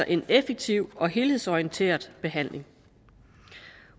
en effektiv og helhedsorienteret behandling